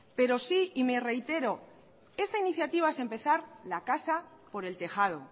pero sí y me reitero esta iniciativa es empezar la casa por el tejado